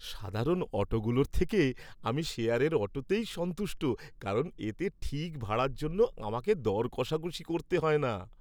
সাধারণ অটোগুলোর থেকে, আমি শেয়ারের অটোতেই সন্তুষ্ট কারণ এতে ঠিক ভাড়ার জন্য আমাকে দর কষাকষি করতে হয় না।